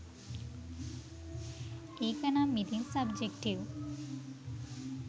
ඒකනම් ඉතින් සබ්ජෙක්ටිව්.